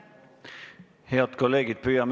Head kolleegid!